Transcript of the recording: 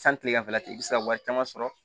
San kilegan fɛ i bi se ka wari caman sɔrɔ